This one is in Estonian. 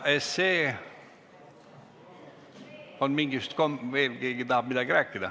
Kas keegi tahab veel midagi rääkida?